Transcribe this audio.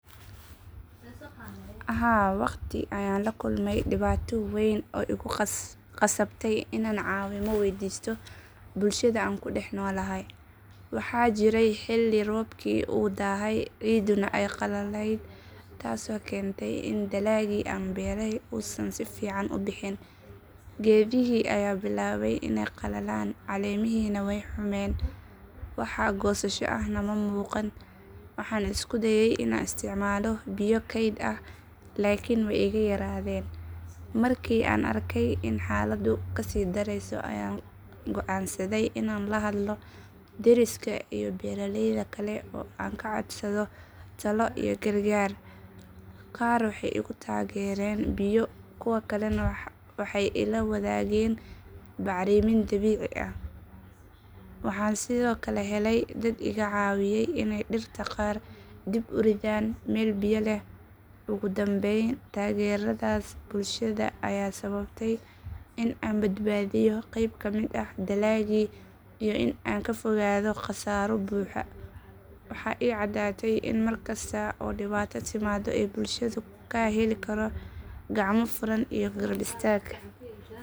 Haa waqti ayaan la kulmay dhibaato weyn oo igu khasabtay inaan caawimo waydiisto bulshada aan ku dhex noolahay. Waxaa jiray xilli roobkii uu daahay ciiduna ay qallalayd taasoo keentay in dalagii aan beeray uusan si fiican u bixin. Geedihii ayaa bilaabay inay qalalaan caleemihiina way humeen wax goosasho ahna ma muuqan. Waxaan isku dayay inaan isticmaalo biyo kayd ah laakiin way iga yaraadeen. Markii aan arkay in xaaladdu ka sii dareyso ayaan go’aansaday inaan la hadlo deriskay iyo beeraleyda kale oo aan ka codsado talo iyo gargaar. Qaar waxay igu taageereen biyo kuwa kalena waxay ila wadaageen bacrimin dabiici ah. Waxaan sidoo kale helay dad iga caawiyay inay dhirta qaar dib u ridaan meel biyo leh. Ugu dambayn taageeradaas bulshada ayaa sababtay in aan badbaadiyo qeyb ka mid ah dalaggii iyo in aan ka fogaado khasaaro buuxa. Waxaa ii caddaatay in markasta oo dhibaato timaado aan bulshada ka heli karo gacmo furan iyo garab istaag dhab ah.